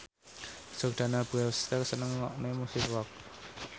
Jordana Brewster seneng ngrungokne musik rock